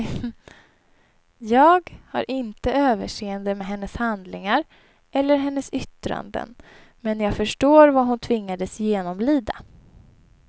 Jag har inte överseende med hennes handlingar eller hennes yttranden, men jag förstår vad hon tvingades genomlida.